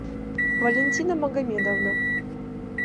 валентина магомедовна